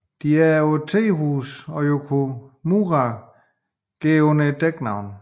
De er på et tehus og Yukimura går under et dæknavn